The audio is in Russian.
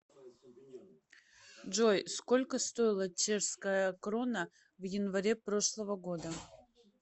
джой сколько стоила чешская крона в январе прошлого года